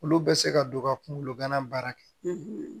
Olu bɛ se ka don ka kunkolo gana baara kɛ